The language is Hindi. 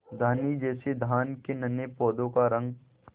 धानी जैसे धान के नन्हे पौधों का रंग